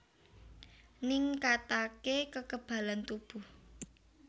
Ningkatake kekebalan tubuh